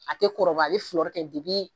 A tɛ kɔrɔba a bɛ kɛ